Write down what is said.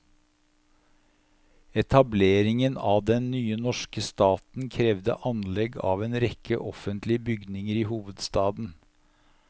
Etableringen av den nye norske staten krevde anlegg av en rekke offentlige bygninger i hovedstaden.